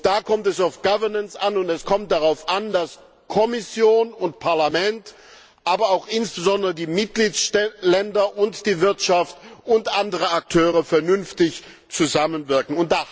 Da kommt es auf Governance an, und es kommt darauf an, dass Kommission und Parlament, aber auch insbesondere die Mitgliedstaaten und die Wirtschaft und andere Akteure vernünftig zusammenwirken.